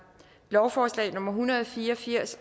lovforslag nummer hundrede og fire og firs